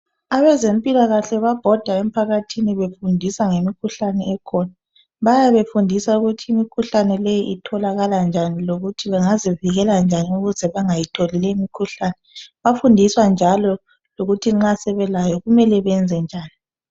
Abezempilakahle bayabhoda emphakathini befundisa ngezempilakahle lemkhuhlane ekhona bayabe befundisa ukuthi imikhuhlane leyi itholakala njani lokuthi bengazivikela njani ukuze bengayitholi lemkhuhlane bayafundiswa njalo ukuthi nxa sebelayo leyo mkhuhlane benze njani